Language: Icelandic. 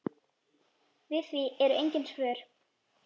Við því eru engin svör.